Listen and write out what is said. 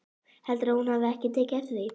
Heldurðu að hún hafi tekið eftir því?